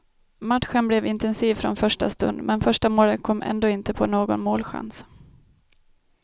Matchen blev intensiv från första stund, men första målet kom ändå inte på någon målchans.